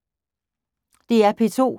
DR P2